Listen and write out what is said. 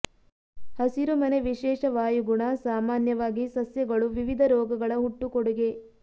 ಹಸಿರುಮನೆ ವಿಶೇಷ ವಾಯುಗುಣ ಸಾಮಾನ್ಯವಾಗಿ ಸಸ್ಯಗಳು ವಿವಿಧ ರೋಗಗಳ ಹುಟ್ಟು ಕೊಡುಗೆ